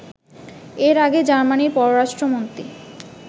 এর আগে জার্মানির পররাষ্ট্রমন্ত্রী